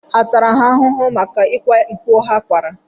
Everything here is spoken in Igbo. À tara ha ahụhụ maka ịkwa iko ha kwara?